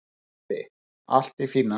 Broddi: Allt í fína.